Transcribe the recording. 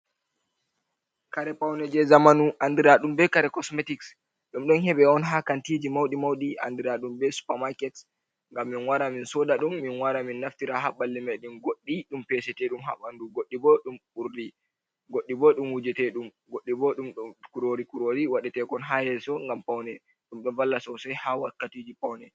kare paune je zamanu andiraɗum be kare cosmetics. Ɗum ɗo heɓe on ha kantiji maudi-maudi andiraɗum be supamaket. Ngam min wara min soda ɗum, min wara min naftira ha ɓalli meɗen. Goɗɗi ɗum peseteɗum ha bandu, goɗɗi bo ɗum wujetedum, goɗɗi bo ɗum kurori-kurori waɗetekon ha yeso ngam paune. Ɗum ɗo valla sosai ha wakkatiji paune.